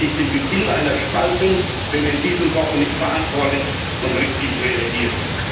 Hier sehe ich den Beginn einer Spaltung, wenn wir in diesen Wochen nicht verantwortlich und richtig reagieren.